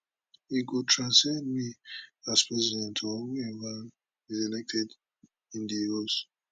e go transcend me as president or whoever is elected in di us